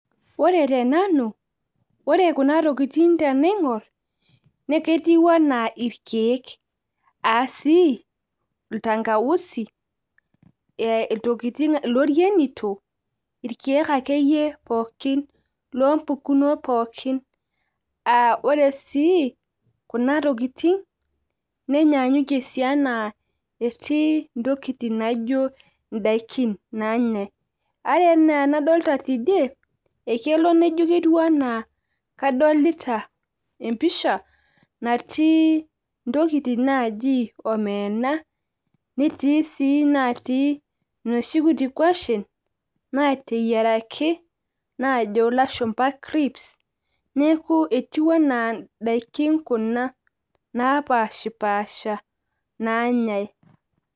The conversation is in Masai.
ore tenanu, ore kuna tokitin tenaing'or naa ketiu anaa irkeek. aasii iltangausi, iltokitin, ilorienito, irkeek akeyie loo mpukunot pookin. ore sii kuna tokitin nenyaanyukie sii anaa etii ntokitin naijo idaikin naanyae. ore anaa enadolita teidie, ekel naijo ketiu anaa kadolita empisha, netii intokitin natiu anaa ntokitin naaji omena netii sii inatii inoshi kuti kwashen naateyieraki, najo lashumpa crips neeku, etiu anaa idaikin kuna naapashipaasha naanyae.